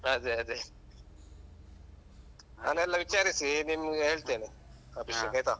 ಅದೆ ಅದೆ ನಾನೆಲ್ಲ ವಿಚಾರಿಸಿ ನಿಮ್ಗೆ ಹೇಳ್ತೇನೆ ಅಭಿಷೇಕ್ ಆಯ್ತ.